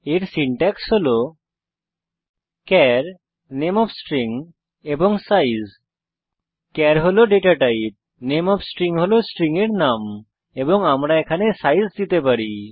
এর সিনট্যাক্স হল চার নামে ওএফ স্ট্রিং এবং সাইজ চার হল ডেটা টাইপ নামে ওএফ থে স্ট্রিং হল স্ট্রিং এর নাম এবং আমরা এখানে আকার দিতে পারি